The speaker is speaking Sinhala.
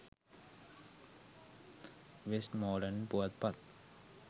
වෙස්ට්මෝලන්ඩ් පුවත්පත්.